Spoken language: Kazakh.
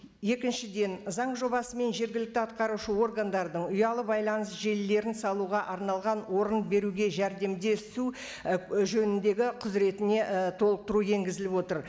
екіншіден заң жобасы мен жергілікті атқарушы органдардың ұялы байланыс желілерін салуға арналған орын беруге жәрдемдесу і жөніндегі құзіретіне ііі толықтыру енгізіліп отыр